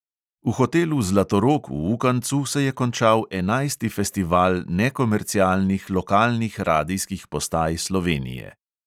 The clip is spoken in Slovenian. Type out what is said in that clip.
V hotelu zlatorog v ukancu se je končal enajsti festival nekomercialnih lokalnih radijskih postaj slovenije.